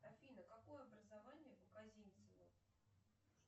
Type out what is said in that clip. афина какое образование у козинцева